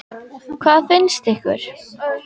Hvað fannst ykkur?